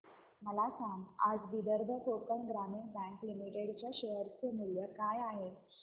मला सांगा आज विदर्भ कोकण ग्रामीण बँक लिमिटेड च्या शेअर चे मूल्य काय आहे